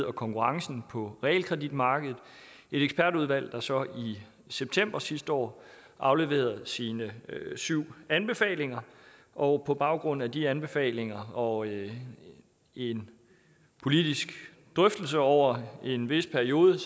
og konkurrencen på realkreditmarkedet et ekspertudvalg der så i september sidste år afleverede sine syv anbefalinger og på baggrund af de anbefalinger og en politisk drøftelse over en vis periode